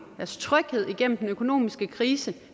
deres tryghed igennem den økonomiske krise